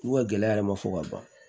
U ka gɛlɛya yɛrɛ ma fɔ ka ban